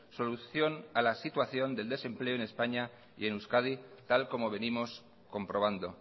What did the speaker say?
solución a la situación del desempleo en españa y en euskadi tal como venimos comprobando